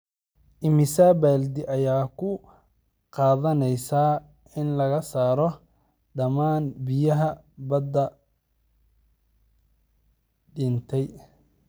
Immisa baaldi ayay ku qaadanaysaa in laga saaro dhammaan biyaha badda dhintay?